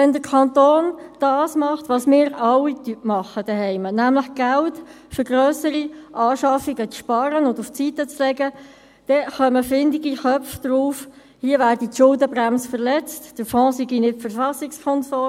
Wenn der Kanton das macht, was wir zu Hause alle tun, nämlich Geld für grössere Anschaffungen zu sparen und auf die Seite zu legen, dann kommen findige Köpfe darauf, hier werde die Schuldenbremse verletzt, der Fonds sei nicht verfassungskonform.